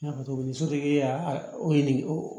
N y'a fɔ cogo min sotigi y'a o